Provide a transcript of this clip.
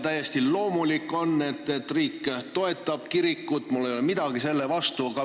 Täiesti loomulik on, et riik toetab kirikut, mul ei ole midagi selle vastu.